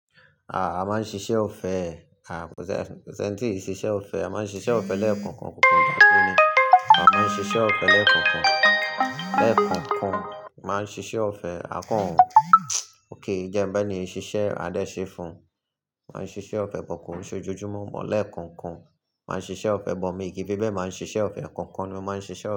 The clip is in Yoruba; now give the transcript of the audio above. Aà, a máa ń ṣiṣẹ́ ọ̀fẹ́. Aà, kò ṣe ko sẹ́, ń tí ì ṣiṣẹ́ ọ̀fẹ́? A máa ń ṣiṣẹ́ ọ̀fẹ́ lẹ́ẹ̀kankan. Kankan dàkẹ́ ni. A máa ń ṣiṣẹ́ ọ̀fẹ́ lẹ́ẹ̀kùnkùn. Lẹ́ẹ̀kankan, máa ń ṣiṣẹ́ ọ̀fẹ́ akọ́run. Oke, í jẹ́ ń bẹ́ ni, ṣiṣẹ́ adéṣe fún un. Máa ń ṣiṣẹ́ ọ̀fẹ́ bọ̀kùn, ṣé ojoojúmọ́ mọ̀? Lẹ́ẹ̀kankan, máa ń ṣiṣẹ́ ọ̀fẹ́ bọ̀ mí, ki fẹ́bẹ́ máa ń ṣiṣẹ́ ọ̀fẹ́, ekankan ni ó máa ń ṣiṣẹ́ ọ̀fẹ́